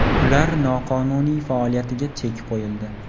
ularning noqonuniy faoliyatiga chek qo‘yildi.